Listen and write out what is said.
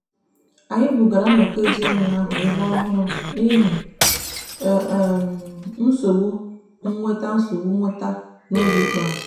anyị bugara nnọkọ ezinụụlọ ahụ ebe ọhụrụ n'ihi nsogbu nweta nsogbu nweta n'oge ikpeazụ.